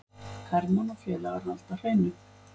Hermann og félagar halda hreinu